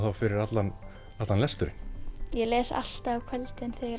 fyrir allan lesturinn ég les alltaf á kvöldin þegar ég